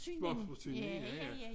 Små forsyning ja ja